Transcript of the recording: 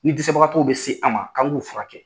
Ni dɛsɛbagatɔw bɛ se an ma k'an k'u furakɛ.